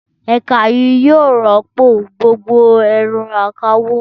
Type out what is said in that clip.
Ẹ̀ka yìí yóò rọ́pò gbogbo ẹ̀rọ akawó.